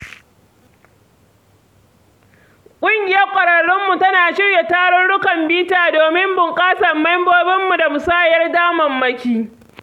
Ƙungiyar ƙwararrunmu tana shirya tarukan bita domin bunƙasa mambobinta da musayar damammaki.